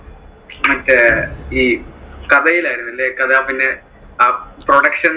മറ്റേ ഈ കഥയിൽ ആയിരുന്നല്ലേ? കഥ പിന്നെ ആ production